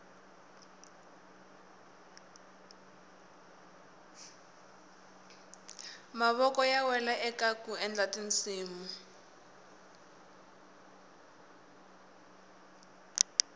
mavoko ya wela kaku endla tinsimu